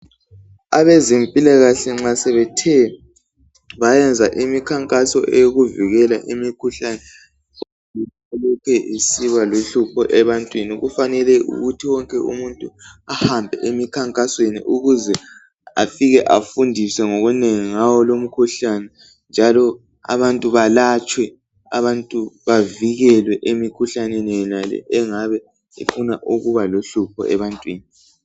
Abezempilakahle nxa sebethe bayenza imikhankaso yokuvikela imikhuhlane elokhe isibaluhlapho ebantwini kufanele ukuthi wonke umuntu ahambe emikhankasweni ukuze afike afundiswe okunengu ngawo lowu umkhuhlane njalo abantu balatshwe abantu bavikelwe emikhuhlaneni yonale engafuna ukubaluhlopho ebantwini